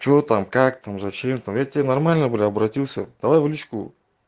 что там как там зачем там я к тебе нормально бля обратился давай в личку